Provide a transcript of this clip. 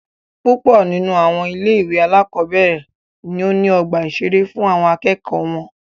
Púpọ nínú àwọn ilé ìwé alákọ̀berẹ̀ ní o ní ọgbà ìṣeré fún àwọn akẹ́kọ̀ọ́ wọn.